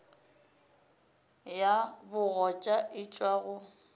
ya bogoja e tšwa go